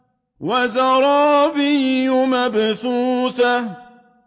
وَزَرَابِيُّ مَبْثُوثَةٌ